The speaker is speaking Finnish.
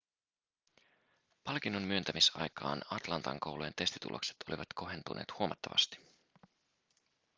palkinnon myöntämisaikaan atlantan koulujen testitulokset olivat kohentuneet huomattavasti